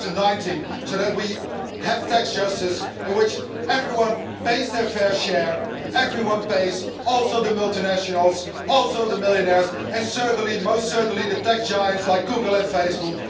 2019. So that we have tax justice in which everyone pays their fair share, everyone pays also the multinationals, also the millionaires, and most certainly the tech giants like Google and Facebook.